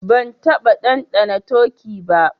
Ban taba dandana turkey ba.